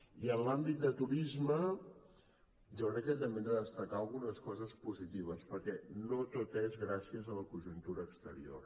i en l’àmbit de turisme jo crec que també hem de destacar algunes coses positives perquè no tot és gràcies a la conjuntura exterior